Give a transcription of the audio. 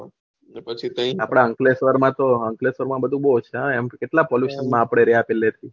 આપળે અક્લેશ્વ્ર મેં તો અંકલેશ્વર માં બધી બહુ છે હા એમ કેટલા પોલ્લુતન માં આપળે રહ્યા થા